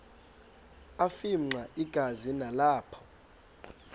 afimxa igazi nalapho